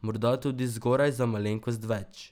Morda tudi zgoraj za malenkost več.